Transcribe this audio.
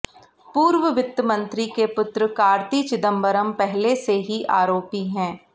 पूर्व वित्तमंत्री के पुत्र कार्ति चिदंबरम पहले से ही आरोपी हैं